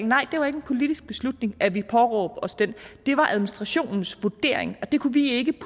nej det var ikke en politisk beslutning at vi påråbte os den det var administrationens vurdering og det kunne vi ikke